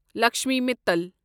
Lakshmi Mittal